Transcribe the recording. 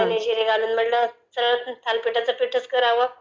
धने जीरे घालून म्हणलं सरळं थालिपीठाचं पिठंच करावं..